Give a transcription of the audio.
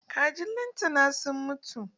Kajin lantana sun mutu.